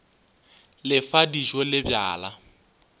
le fa dijo le bjala